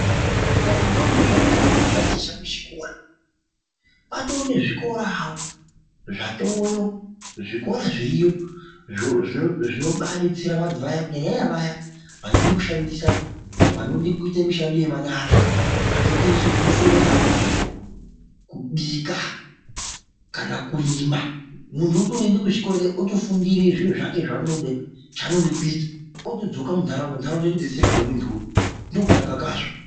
Madhodha nentombi zvaiti atikoni kutaticha kuchikora kwatove nezvikorawo zvatowo zvikora zviriyo zvinobadetsera vantu vaya kunyanya vaya vanode kuita mushando wemanyara zvakaite sekusona, kubika kana kurima muntu unotoende kuzvikora kuya otofundira zviro zvake zvaanoda kuita otodzoka muntharaunda nhtaraunda yotodetseteka ngemuntu uya ndokutonaka kazvo.